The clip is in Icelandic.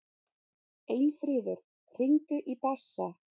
Einfríður, hringdu í Bassa.